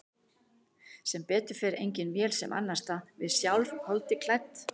Sem betur fer engin vél sem annast það, við sjálf, holdi klædd.